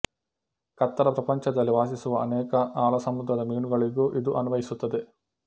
ಕತ್ತಲ ಪ್ರಪಂಚದಲ್ಲಿ ವಾಸಿಸುವ ಅನೇಕ ಆಳಸಮುದ್ರದ ಮೀನುಗಳಿಗೂ ಇದು ಅನ್ವಯಿಸುತ್ತದೆ